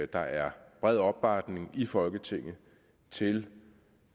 der er bred opbakning i folketinget til